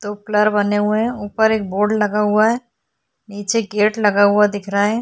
दो पिलर बने हुए हैं ऊपर एक बोर्ड लगा हुआ है नीचे गेट लगा हुआ दिख रहा है।